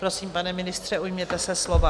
Prosím, pane ministře, ujměte se slova.